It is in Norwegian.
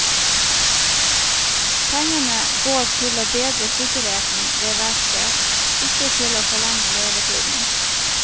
Pengene går til å bedre sikkerheten ved verket, ikke til å forlenge levetiden.